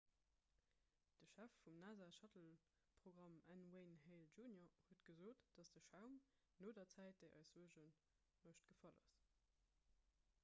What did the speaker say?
de chef vum nasa-shuttleprogramm n wayne hale jr huet gesot datt de schaum no der zäit déi eis suerge mécht gefall ass